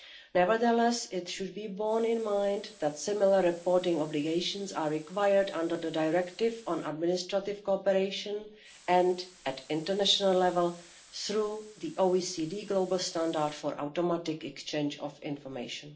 Nevertheless, it should be borne in mind that similar reporting obligations are required under the Directive on Administrative Cooperation and at international level through the OECD global Standard for Automatic Exchange of Financial Information.